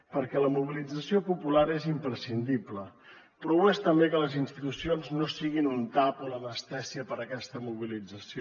perquè la mobilització popular és imprescindible però ho és també que les institucions no siguin un tap o l’anestèsia per a aquesta mobilització